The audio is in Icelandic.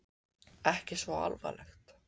Ekki svo alvarlegt?